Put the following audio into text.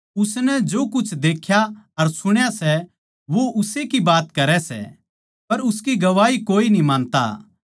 उसनै जो कुछ देख्या अर सुण्या सै वो उस्से की बात करै सै पर उसकी गवाही कोए न्ही मानता